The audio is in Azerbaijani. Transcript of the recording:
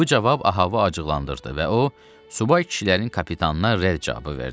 Bu cavab Ahavı acıqlandırdı və o subay kişilərin kapitanına rədd cavabı verdi.